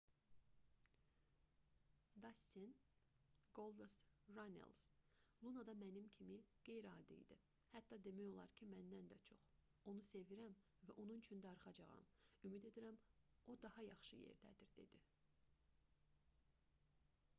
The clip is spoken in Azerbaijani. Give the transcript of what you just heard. dastin qoldast rannels luna da mənim kimi qeyri-adi idi hətta demək olar ki məndən də çox onu sevirəm və onun üçün darıxacağam ümid edirəm o daha yaxşı yerdədir dedi